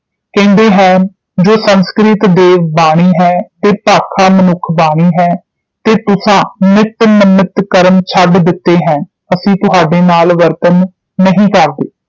ਕਹਿੰਦੇ ਹੈਨਿ ਜੋ ਸੰਸਕ੍ਰਿਤ ਦੇਵ ਬਾਣੀ ਹੈ ਤੇ ਭਾਖਾ ਮਨੁੱਖ ਬਾਣੀ ਹੈ ਤੇ ਤੁਸੀਂ ਨਿੱਤ ਨਮਿੱਤ ਕਰਮ ਛੱਡ ਦਿਤੇ ਹੈਨਿ ਅਸੀਂ ਤੁਸਾਡੇ ਨਾਲ ਵਰਤਣ ਨਹੀਂ ਕਰਦੇ